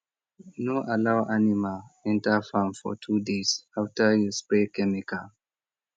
no allow animal enter farm for two days after you spray chemical